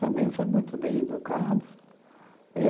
Também foi muito bem educada.